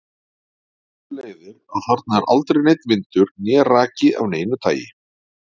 Af þessu leiðir að þarna er aldrei neinn vindur né raki af neinu tagi.